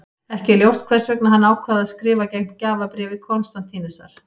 Ekki er ljóst hvers vegna hann ákvað að skrifa gegn gjafabréfi Konstantínusar.